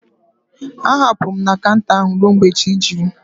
Ha hapụrụ m na kanta ahụ ruo mgbe chi jiri